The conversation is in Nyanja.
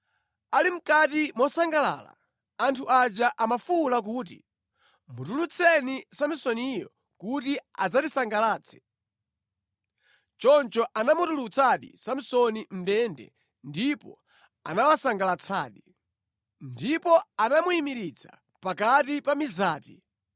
Ali mʼkati mosangalala, anthu aja amafuwula kuti, “Mutulutseni Samsoniyo kuti adzatisangalatse.” Choncho anamutulutsadi Samsoni mʼndende, ndipo anawasangalatsadi. Ndipo anamuyimiritsa pakati pa mizati.